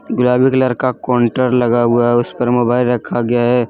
गुलाबी कलर का काउंटर लगा हुआ है उस पर मोबाइल रखा गया है ।